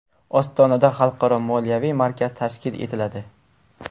Ostonada xalqaro moliyaviy markaz tashkil etiladi.